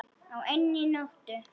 Á einni nóttu!